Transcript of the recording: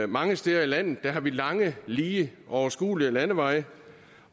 mange steder i landet har vi lange lige overskuelige landeveje